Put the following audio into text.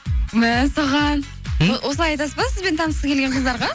мәссаған ы осылай айтасыз ба сізбен танысқысы келген қыздарға